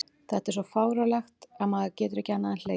Þetta er svo fáránlegt að maður getur ekki annað en hlegið.